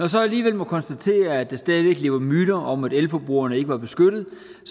så alligevel må konstatere at der stadig væk lever myter om at elforbrugerne ikke var beskyttet